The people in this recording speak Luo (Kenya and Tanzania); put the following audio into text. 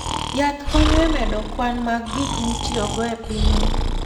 Yath konyo e medo kwan mag gik mitiyogo e pinyno.